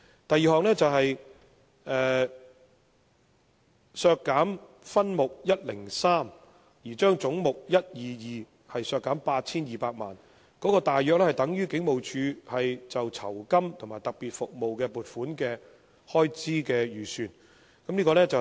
第二項是為削減分目103而將總目122削減 8,200 萬元，大約相當於警務處就酬金及特別服務的撥款預算開支。